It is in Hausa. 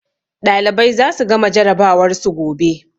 Ɗalibai za su gama jarabawar su gobe.